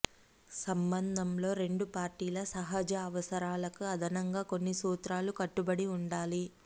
సంబంధంలో రెండు పార్టీల సహజ అవసరాలకు అదనంగా కొన్ని సూత్రాలు కట్టుబడి ఉండాలి